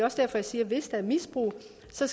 så